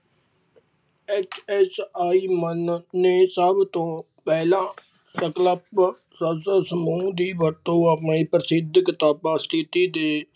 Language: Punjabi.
HSI ਮੰਨ ਨੇ ਸਭ ਤੋਂ ਪਹਿਲਾ, ਸੰਕਲਪ ਸੰਸਦ ਸਮੂਹ ਦੀ ਵਰਤੋਂ ਆਪਣੇ ਪ੍ਰਸਿੱਧ ਕਿਤਾਬਾਂ ਸਥਿੱਤੀ ਦੇ